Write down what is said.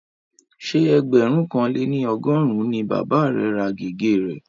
Ṣé ẹgbẹ̀rún kan lé ní ọgọ́rùn-ún ni bàba rẹ̀ ra gègé rẹ̀